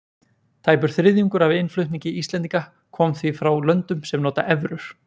Tæpur þriðjungur af innflutningi Íslendinga kom því frá löndum sem nota evrur.